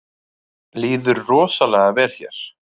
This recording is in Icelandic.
Líður rosalega vel hér